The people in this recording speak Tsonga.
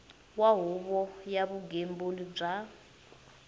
wa huvo ya vugembuli bya